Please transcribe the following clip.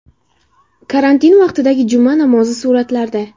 Karantin vaqtidagi juma namozi suratlarda.